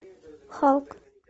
халк